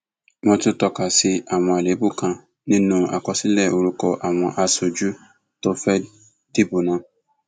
wọn tún tọka sí àwọn àléébù kan nínú àkọsílẹ orúkọ àwọn aṣojú tí wọn fẹẹ dìbò náà